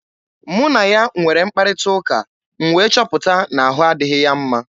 Mụ na ya nwere mkparịta ụka, m wee chọpụta na ahụ adịghị ya mma.